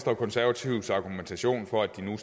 og konservatives argumentation for at de nu